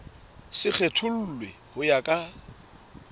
se kgethollwe ho ya ka